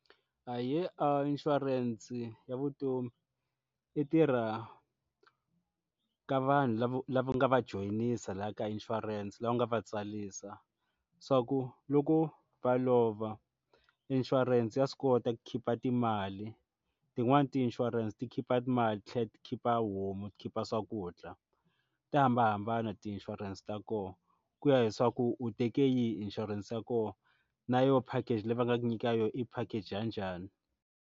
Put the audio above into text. Ahee a inshurense ya vutomi i tirha ka vanhu lava lava nga va joyinisa laha ka insurance laha u nga va tsarisa swa ku loko va lova inshurense ya swi kota ku khipha timali tin'wani ti insurance ti khipha timali ti thlela ti khipha a homu ti khipha swakudya ta hambanahambana ti insurance ta koho ku ya leswaku u teke yihi insurance ya koho na yo package leyi va nga nyikaka yo i package ya njhani.